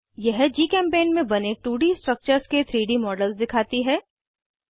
यह जीचेम्पेंट में बने 2डी स्ट्रक्चर्स के 3डी मॉडल्स दिखाती है